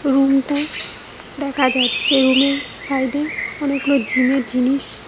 room -টা দেখা যাচ্ছে রুম -এর সাইড -এ অনেকগুলো জিম -এর জিনিস--